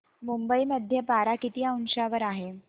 मुंबई मध्ये पारा किती अंशावर आहे